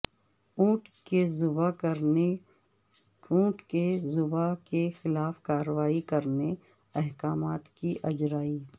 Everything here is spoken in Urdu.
اونٹ کے ذبح کے خلاف کارروائی کرنے احکامات کی اجرائی